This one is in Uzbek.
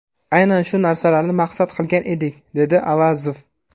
Aynan shu narsalarni maqsad qilgan edik”, dedi Avazov.